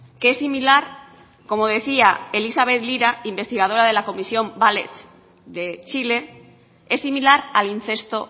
que es similar como decía elizabeth lira investigadora de la comisión valech de chile es similar al incesto